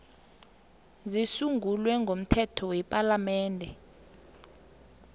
zisungulwe ngomthetho wepalamende